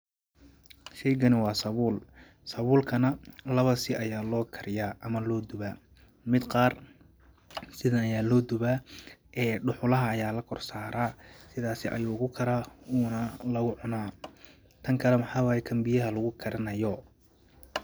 Sheygani waa sabuul, sabuul kana lawa si ayaa loo kariyaa ama loo dubaa ,mid qaar sidan ayaa loo dubaa ee dhuxulaha ayaa lakor saraa ,sidaasi ayuu ku karaa uuna lagu cunaa ,tan kale waxaa waay tan biyaha lagu karinayo .